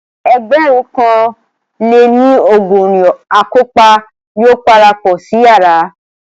Ẹgbẹ̀rún kan lé ní ọgọrin akọ́pa yóò parapọ̀ sí yàrá